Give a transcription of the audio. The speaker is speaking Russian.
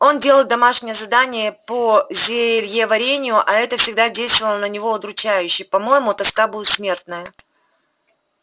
он делал домашнее задание по зелье варению а это всегда действовало на него удручающе по-моему тоска будет смертная